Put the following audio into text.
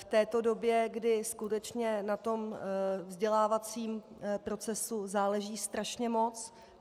v této době, kdy skutečně na tom vzdělávacím procesu záleží strašně moc.